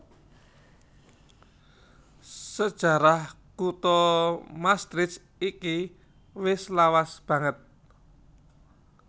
Sajarah kutha Maastricht iki wis lawas banget